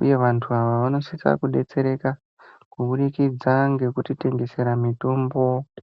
uyevantu ava vanosisa kubetsereka kubudikidza ngekutitengesera mitombo.